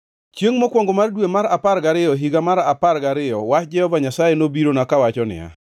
Chiengʼ mokwongo mar dwe mar apar gariyo, e higa mar apar gariyo, wach Jehova Nyasaye nobirona kawacho niya: